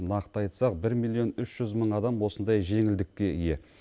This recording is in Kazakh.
нақты айтсақ бір миллион үш жүз мың адам осындай жеңілдікке ие